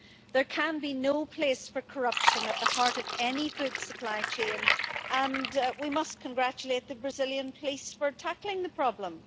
There can be no place for corruption at the heart of any food supply chain and we must congratulate the Brazilian police for tackling the problem.